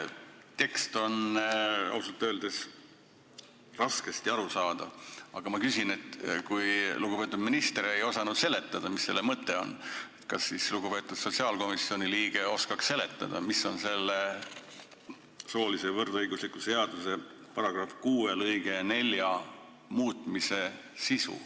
Tekst on ausalt öeldes raskesti arusaadav, aga ma küsin, et kui lugupeetud minister ei osanud seletada, mis selle mõte on, kas siis lugupeetud sotsiaalkomisjoni liige oskaks öelda, mis on selle soolise võrdõiguslikkuse seaduse § 6 lõike 4 muutmise sisu.